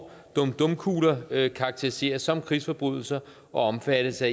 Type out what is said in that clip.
dum dum kugler karakteriseres som krigsforbrydelser og omfattes af